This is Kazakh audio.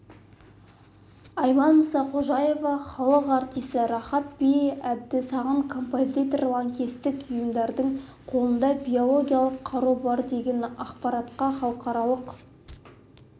айман мұсақожаева халық артисі рахат-би әбдісағын композитор лаңкестік ұйымдардың қолында биологиялық қару бар деген ақпарға халықаралық